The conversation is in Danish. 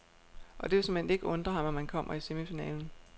Og det vil såmænd ikke undre ham, om han kommer i semifinalen.